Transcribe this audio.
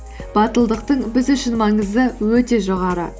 батылдықтың біз үшін маңызы өте жоғары